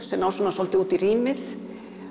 sem ná svolítið út í rýmið